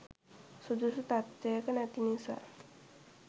සුදුසු තත්ත්වයක නැති නිසා